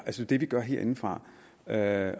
at det vi gør herindefra er at